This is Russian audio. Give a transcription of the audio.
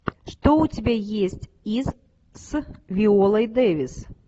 что у тебя есть из с виолой дэвис